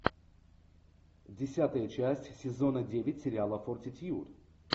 десятая часть сезона девять сериала фортитьюд